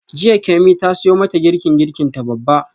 Jiya Kemi ta siyo mata girkin girkinta babba.